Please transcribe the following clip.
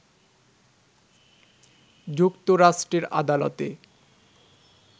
যুক্তরাষ্ট্রের আদালতে